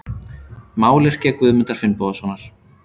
Mályrkja Guðmundar Finnbogasonar.